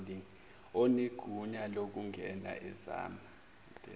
onegunya lokungena ezama